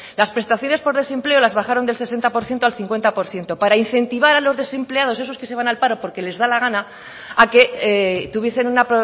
las prestaciones por desempleo las bajaron del sesenta por ciento al cincuenta por ciento para incentivar a los desempleados esos que se van al paro porque les da la gana a que tuviesen una